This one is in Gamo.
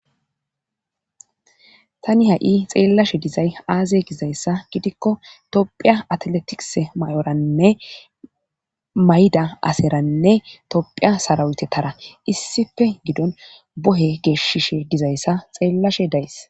Tani ha7i xeellashe dizay aaze gizayssa gidikko tophiya atletis may7oranne mayda aseranne tophiya sarawutetara issife gidon bohe geeshshishe dizayssa xeellashe days.